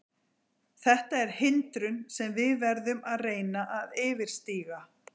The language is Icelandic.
Þetta er hindrun sem við verðum að reyna að yfirstíga.